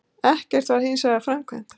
Ekkert var hins vegar framkvæmt